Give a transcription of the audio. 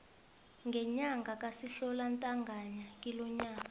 ngenyanga kasihlabantangana kilonyaka